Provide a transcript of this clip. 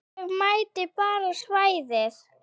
Ég mæti bara á svæðið.